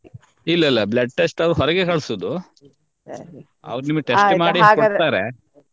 ಇಲ್ಲ ಇಲ್ಲ blood test ಅವ್ರು ಹೊರಗೆ ಕಳಿಸುವುದು ಅವರು ನಿಮಿಗೆ test ಮಾಡಿ ಕೊಡ್ತಾರೆ.